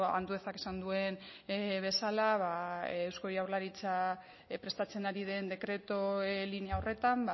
anduezak esan duen bezala eusko jaurlaritza prestatzen ari den dekretu linea horretan